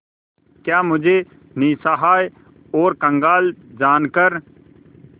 क्या मुझे निस्सहाय और कंगाल जानकर